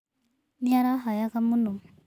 Nĩ arahayaga mũno.